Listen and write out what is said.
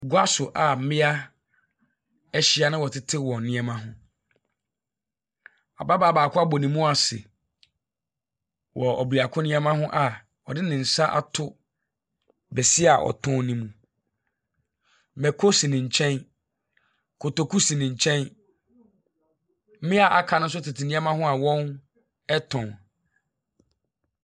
Gua so a mmea ahyia na wɔtetew wɔn nneɛma ho. Ababaa baako abɔ ne mu ase wɔ ɔbeako nneɛma ho a ɔde ne nsa ato bese a ɔtɔn no mu. Mako si ne nkyɛn. Kotoku si ne nkyɛn. Mmea a wɔaka no nso tete nneɛma ho a wɔretɔn.